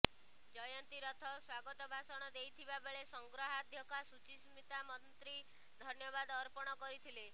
ଜୟନ୍ତୀ ରଥ ସ୍ୱାଗତ ଭାଷଣ ଦେଇଥିବା ବେଳେ ସଂଗ୍ରହାଧ୍ୟକ୍ଷା ସୁଚିସ୍ମିତା ମନ୍ତ୍ରୀ ଧନ୍ୟବାଦ ଅର୍ପଣ କରିଥିଲେ